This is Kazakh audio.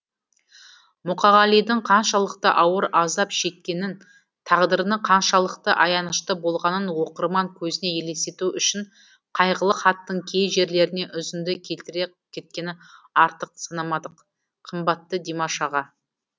мұқағалидың қаншалықты ауыр азап шеккенін тағдырының қаншалықты аянышты болғанын оқырман көзіне елестету үшін қайғылы хаттың кей жерлерінен үзінді келтіре кеткені артық санамадық қымбатты димаш аға